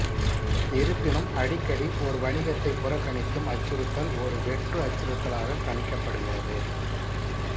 இருப்பினும் அடிக்கடி ஒரு வணிகத்தை புறக்கணிக்கும் அச்சுறுத்தல் ஒரு வெற்று அச்சுறுத்தலாகக் கணிக்கப்படுகிறது